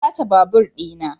An sace babur dina.